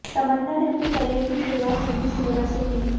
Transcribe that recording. तमन्ना ने अपने करियर की शुरुआत हिंदी सिनेमा से की